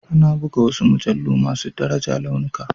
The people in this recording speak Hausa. Ana buga wasu mujallu masu daraja launuka.